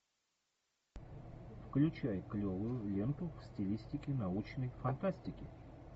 включай клевую ленту в стилистике научной фантастики